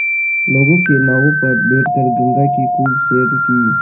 लोगों के नावों पर बैठ कर गंगा की खूब सैर की